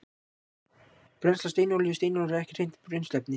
Brennsla steinolíu Steinolía er ekki hreint brennsluefni.